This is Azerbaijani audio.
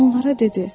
Onlara dedi: